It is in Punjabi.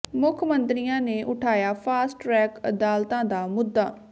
ਮੁੱਖ ਮੰਤਰੀਆਂ ਨੇ ਉਠਾਇਆ ਫਾਸਟ ਟਰੈਕ ਅਦਾਲਤਾਂ ਦਾ ਮੁੱਦਾ